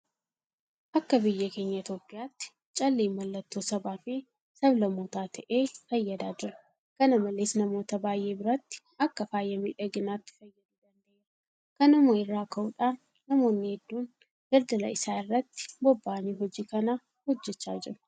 Akka biyya keenya Itoophiyaatti calleen mallattoo sabaafi sablammootaa ta'ee fayyadaa jira. Kana malees namoota baay'ee biratti akka faaya miidhaginaatti fayyaduu danda'eera. Kanuma irraa ka'uudhaan namoonni hedduun daldala isaa irratti bobba'anii hojii kana hojjechaa jiru.